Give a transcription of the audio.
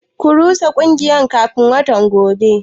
Ku rusa kungiyar kafin watan gobe.